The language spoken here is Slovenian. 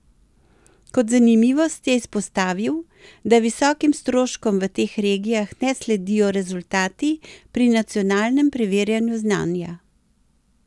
Kot zanimivost je izpostavil, da visokim stroškom v teh regijah ne sledijo rezultati pri nacionalnem preverjanju znanja.